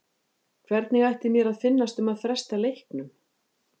Hvernig ætti mér að finnast um að fresta leiknum?